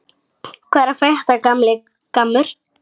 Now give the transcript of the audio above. Hvað er að frétta, gamli gammur?